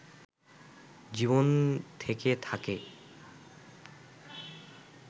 জীবন থেকে থাকে